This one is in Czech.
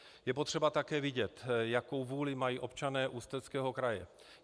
Je potřeba také vidět, jakou vůli mají občané Ústeckého kraje.